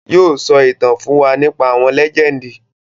Yii o sọ ìtàn fún wa nípa àwọn lẹ́jẹ́ndì